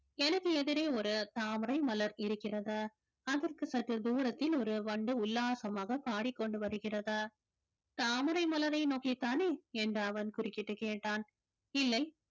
எனக்கு எதிரே ஒரு தாமரை மலர் இருக்கிறது அதற்கு சற்று தூரத்தில் ஒரு வண்டு உல்லாசமாக பாடிக்கொண்டு வருகிறது தாமரை மலரை நோக்கித்தானே என்று அவன் குறுக்கிட்டு கேட்டான் இல்லை